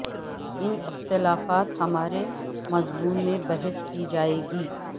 ان اختلافات ہمارے مضمون میں بحث کی جائے گی